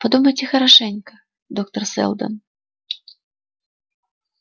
подумайте хорошенько доктор сэлдон